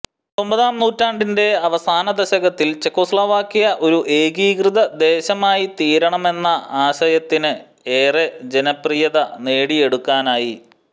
പത്തൊമ്പതാം നൂറ്റാണ്ടിന്റെ അവസാന ദശകത്തിൽ ചെകോസ്ലാവാക്യ ഒരു ഏകീകൃതദേശമായിത്തീരണമെന്ന എന്ന ആശയത്തിന് ഏറെ ജനപ്രിയത നേടിയെടുക്കാനായി